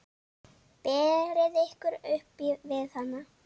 Berið ykkur upp við hann!